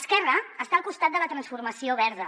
esquerra està al costat de la transformació verda